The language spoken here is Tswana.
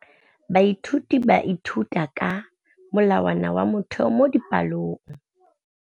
Baithuti ba ithuta ka molawana wa motheo mo dipalong.